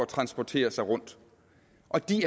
transportere sig rundt og de